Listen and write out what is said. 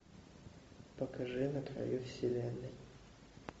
покажи на краю вселенной